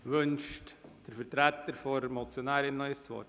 Wünscht der Vertreter der Motionärin noch einmal das Wort?